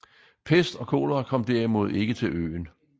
Pest og kolera kom derimod ikke til øen